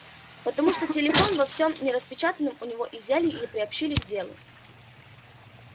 потому что телефон во всем нераспечатанным у него изъяли и приобщили к делу